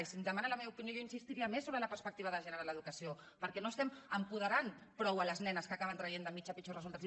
i si em demana la meva opinió jo insistiria més sobre la perspectiva de gènere en l’educació perquè no estem apoderant prou les nenes que acaben traient de mitjana pitjors resultats